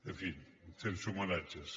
en fi sense homenatges